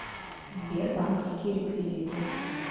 сбер банковские реквизиты